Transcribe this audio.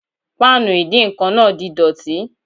Páànù ìdíǹkan náà di dọ̀tí